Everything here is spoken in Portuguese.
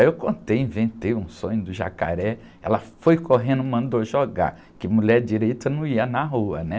Aí eu contei, inventei um sonho do jacaré, ela foi correndo, mandou jogar, que mulher direita não ia na rua, né?